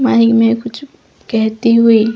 Mic में कुछ कहते हुए।